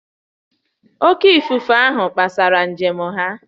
Oké ifufe ahụ kpaghasịrị njem ha